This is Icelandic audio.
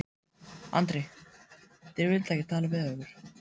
Andri: Þeir vildu ekki tala við ykkur?